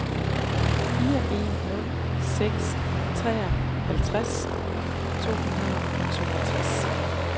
fire en nul seks treoghalvtreds to hundrede og toogtres